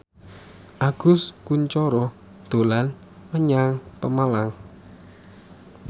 Agus Kuncoro dolan menyang Pemalang